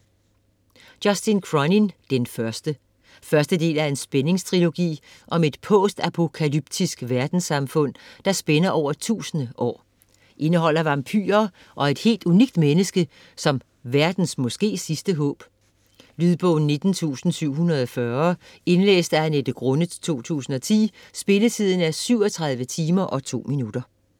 Cronin, Justin: Den første Første del af spændingstrilogi om et post-apokalyptisk verdenssamfund, der spænder over 1000 år. Indeholder vampyrer og et helt unikt menneske som verdens måske sidste håb. Lydbog 19740 Indlæst af Annette Grunnet, 2010. Spilletid: 37 timer, 2 minutter.